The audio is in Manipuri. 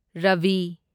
ꯔꯚꯤ